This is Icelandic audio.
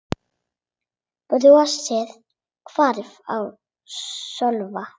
Brosið hvarf af Sölva.